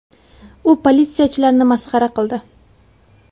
U politsiyachilarni masxara qildi.